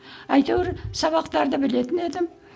әйтеуір сабақтарды білетін едім